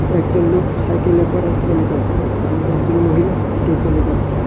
একজন লোক সাইকেলে করে চলে যাচ্ছে এবং একজন মহিলা হেঁটে চলে যাচ্ছে।